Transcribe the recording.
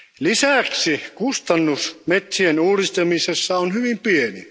Lisäksi kustannus metsien uudistamisessa on hyvin pieni.